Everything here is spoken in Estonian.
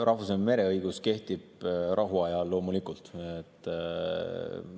Rahvusvaheline mereõigus kehtib rahuajal, loomulikult.